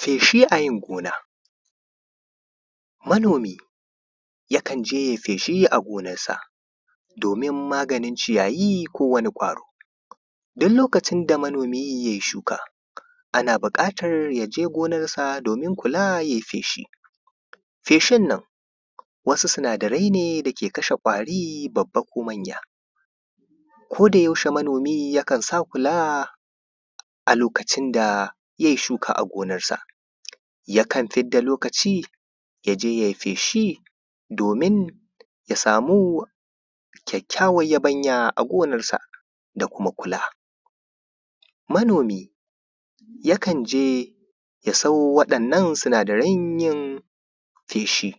feshi a yin gona manomi yakan je yai feshi a gonan sa domin maganin ciyayi ko wani ƙwaro duk lokacin da manomi yai shuka ana buƙatar ya je gonasa domin kula yai feshi feshin nan wasu sinadarai ne da ke kashe ƙwari babba ko manya koda yaushe manomi yakan sa kula a lokacin da yai shuka a gonarsa yakan fidda lokaci ya je yai feshi domin ya samu kyakykyawar yabanya a gonarsa da kuma kula manomi yakan je ya siyo waɗannan sinadaran yin feshi